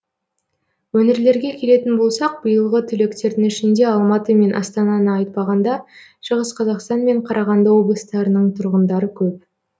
өңірлерге келетін болсақ биылғы түлектердің ішінде алматы мен астананы айтпағанда шығыс қазақстан мен қарағанды облыстарының тұрғындары көп